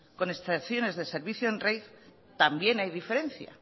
con excepciones de servicio en también hay diferencia